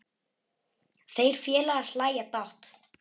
Þeir félagar hlæja dátt.